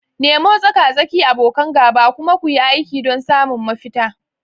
Nemo tsaka-tsaki, abokan gaba, kuma kuyi aiki don samun mafita.